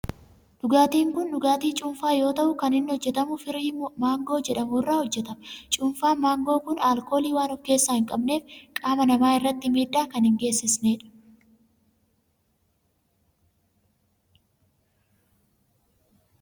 Dhugaatin kun dhugaatii cuunfaa yoo ta'u kan inni hojjetamu firii maangoo jedhamu irraa hojjetama. Cuunfaan maangoo kun alkoolii waan of keessaa hin qabneef qaama namaa irratti miidhaa kan hin geessisnedha.